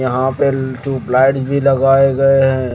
यहां पे चुप लाइट भी लगाए गए हैं।